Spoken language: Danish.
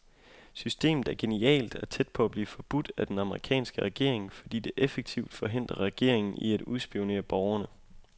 Systemet er genialt og tæt på at blive forbudt af den amerikanske regering, fordi det effektivt forhindrer regeringen i at udspionere borgerne.